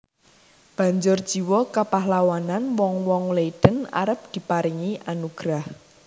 Banjur jiwa kapahlawanan wong wong Leiden arep diparingi anugrah